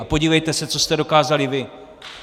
A podívejte se, co jste dokázali vy!